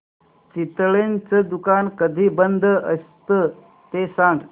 चितळेंचं दुकान कधी बंद असतं ते सांग